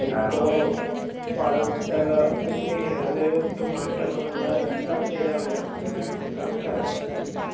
അതായത് ഇപ്പൊ പാഠപുസ്തക..അത്..ഇപ്പൊ മാറ്റണം നുള്ള ചർച്ചയിലാണല്ലോ നമ്മടെ സർക്കാരൊക്കെ...